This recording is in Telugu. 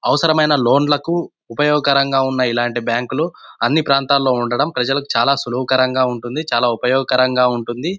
అవసరమైన లోన్ లకు ఉపయోగకరంగా ఉన్న ఇలాంటి బ్యాంకు లు అని ప్రాంతాలలో ఉండటం ప్రజలకు చాలా సులువుకరంగా ఉంటుంది. చాలా ఉపయోగకరంగా ఉంటుంది.